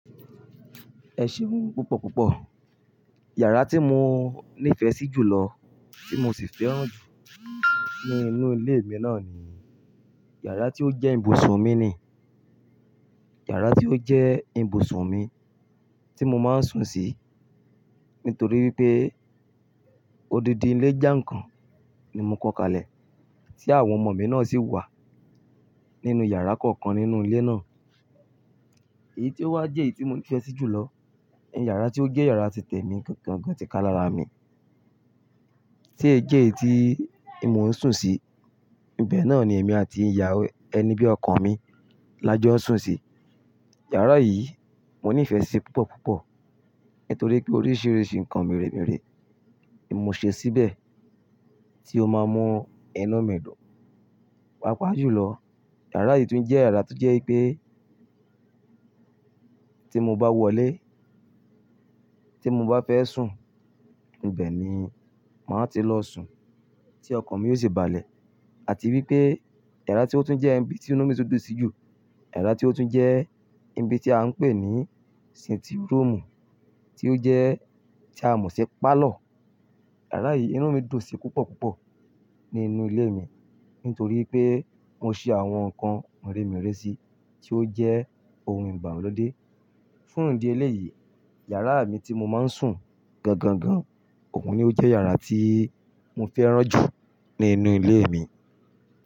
Ẹ ṣì ń wù mí púpọ̀ púpọ̀. Yàrá tí mo nífẹ̀ẹ́ sí jù lọ tí mo sì fẹ́ràn jù nínú ilé mi náà ni yàrá tí ó jẹ́ ibùsùn mi ni, yàrá tí ó jẹ́ ibùsùn mi tí mo máa ń sùn sí nítorí pé odidi ilé jà ń kàn ni mo kọ́ kalẹ̀ tí àwọn ọmọ mi náà sì wà nínú yàrá kọ̀ọ̀kan nínú ilé náà. Èyí tí ó wá jẹ́ èyí tí mo nífẹ̀ẹ́ sí jù lọ ni yàrá tí ó jẹ́ yàrá títẹ̀ mi gan gan gan tí ká lára mi tí ó jẹ́ èyí tí mo ń sùn sí. Ìbẹ̀ náà ni èmi àti ìyàwó, ẹni bí ọkọ mi la jọ sùn sí. Yàrá yìí mo nífẹ̀ẹ́ sí púpọ̀ púpọ̀ nítorí pé oríṣiríṣi nǹkan mìremìre ni mo ṣe síbẹ̀ tí ó máa mọ inu mi dùn. Pàápàá jù lọ, yàrá yìí tún jẹ́ yàrá tó jẹ́ pé tí mo bá wọlé tí mo bá fẹ́ sùn, ibẹ̀ ni màá ti lọ sùn tí ọkan mi yóò sì balẹ̀. Àti wípé yàrá tí ó tún jẹ́ ibi tí inú mi tó dùn sí jù, yàrá tí ó tún jẹ́ ibi tí à ń pè ní sinti rọ́ọ̀mù tí ó jẹ́ tí a ń ṣe pálọ̀. Yàrá yìí inú mi dùn sí púpọ̀ púpọ̀ nínú ilé mi nítorí pé mo ṣe àwọn nǹkan mìremìre síi tí ó jẹ́ ohun ìgbàlódé. Fún ìdí eléyìí, yàrá mi tí mo máa ń sùn gan gan gan, òun ni ó jẹ́ yàrá tí mo fẹ́ràn jù nínú ilé mi.